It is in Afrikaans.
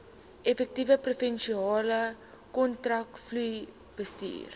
effektiewe provinsiale kontantvloeibestuur